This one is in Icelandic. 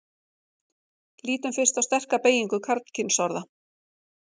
lítum fyrst á sterka beygingu karlkynsorða